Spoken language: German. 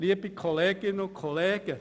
Liebe Kolleginnen und Kollegen: